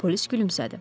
Polis gülümsədi.